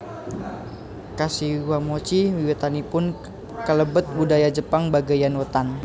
Kashiwamochi wiwitanipun kalebet budaya Jepang bagéyan wétan